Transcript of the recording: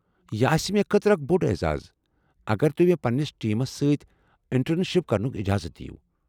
یہ آسہ مےٚ خٲطرٕ اکھ بوٚڑ اعزاز اگر تُہۍ مےٚ پنٛنس ٹیمس سۭتۍ انٹرن شِپ کرنُک اجازت دیو۔